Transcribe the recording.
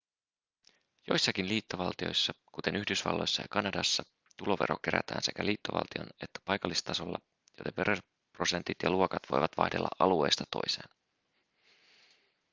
joissakin liittovaltioissa kuten yhdysvalloissa ja kanadassa tulovero kerätään sekä liittovaltion että paikallistasolla joten veroprosentit ja luokat voivat vaihdella alueesta toiseen